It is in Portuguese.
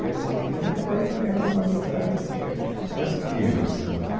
E assim, eles acabaram criando uma amizade, assim, é, um negócio incrível, assim é